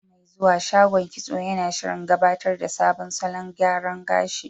Wata mai zuwa, shagon kitso yana shirin gabatar da sabon salon gyara gashi.